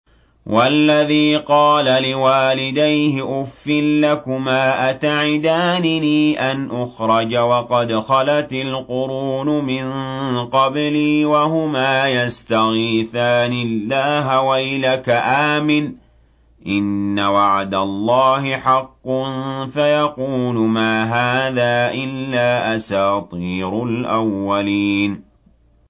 وَالَّذِي قَالَ لِوَالِدَيْهِ أُفٍّ لَّكُمَا أَتَعِدَانِنِي أَنْ أُخْرَجَ وَقَدْ خَلَتِ الْقُرُونُ مِن قَبْلِي وَهُمَا يَسْتَغِيثَانِ اللَّهَ وَيْلَكَ آمِنْ إِنَّ وَعْدَ اللَّهِ حَقٌّ فَيَقُولُ مَا هَٰذَا إِلَّا أَسَاطِيرُ الْأَوَّلِينَ